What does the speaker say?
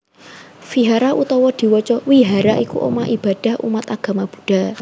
Vihara utawa diwaca Wihara iku omah ibadah umat agama Buddha